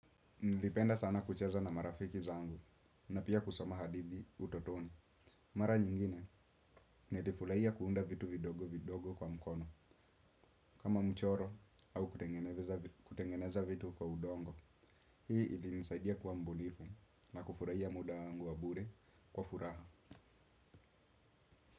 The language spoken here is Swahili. Nilipenda sana kucheza na marafiki zangu, na pia kusoma hadithi utotoni. Mara nyingine, nilifurahia kuunda vitu vidogo vidogo kwa mkono, kama mchoro, au kutengeneza vitu kwa udongo. Hii ilinisaidia kuwa mbunifu, na kufurahia muda wangu wa bure kwa furaha.